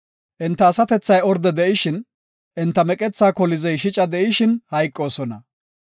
Enta asatethay orde shin, enta meqethaa kolizey shica de7ishin hayqoosona.